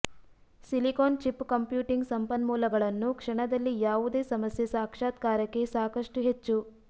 silicon chip computing ಸಂಪನ್ಮೂಲಗಳನ್ನು ಕ್ಷಣದಲ್ಲಿ ಯಾವುದೇ ಸಮಸ್ಯೆ ಸಾಕ್ಷಾತ್ಕಾರಕ್ಕೆ ಸಾಕಷ್ಟು ಹೆಚ್ಚು